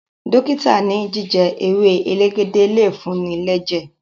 dókítà ní jíjẹ ewe elegede le fun-ni lẹjẹ